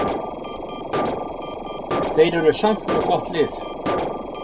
Þeir eru samt með gott lið.